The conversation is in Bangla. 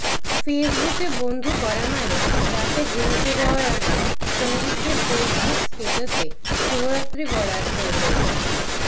ফেসবুকে বন্ধু করা মানে রাতে ঘুমাতে যাওয়ার আগে সঙ্গীকে ফেসবুক স্ট্যটাসে শুভরাত্রি বলার প্রয়োজন নেই